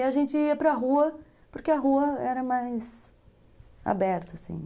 E a gente ia para a rua, porque a rua era mais aberta, assim